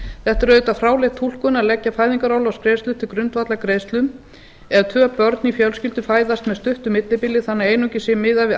þetta er auðvitað fráleit túlkun að leggja fæðingaorlofsgreiðslur til grundvallar greiðslum ef tvö börn í fjölskyldu fæðast með stuttu millibili þannig að einungis sé miðað við